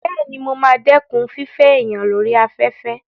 Bẹ́ẹ̀ni, mo ma dẹ́kun fífẹ́ èèyàn lórí afẹ́fẹ́